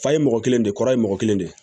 Fa ye mɔgɔ kelen de kɔrɔ ye mɔgɔ kelen de